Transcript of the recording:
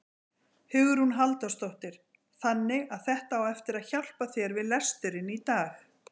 Hugrún Halldórsdóttir: Þannig að þetta á eftir að hjálpa þér við lesturinn í dag?